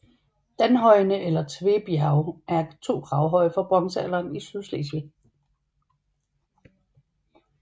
Danhøjene eller Tvebjerge er to gravhøje fra bronzealderen i Sydslesvig